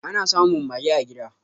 Ana samun mage a gida